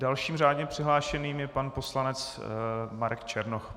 Dalším řádně přihlášeným je pan poslanec Marek Černoch.